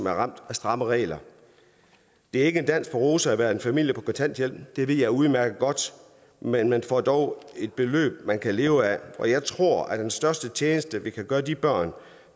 er ramt af skrappe regler det er ikke en dans på roser at være en familie på kontanthjælp det ved jeg udmærket godt men man får dog et beløb man kan leve af og jeg tror at den største tjeneste vi kan gøre de børn